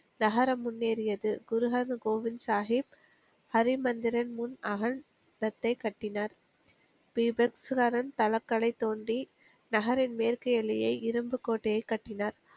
நகரம் முன்னேறியது குறுகாத கோவிந்த் சாகிப் ஹரிமந்திரன் முன் அகழ்ந்ததைக் கட்டினார் சரண் தளக்கலை தோண்டி நகரின் மேற்கு எல்லையை இரும்புக் கோட்டையைக் கட்டினார்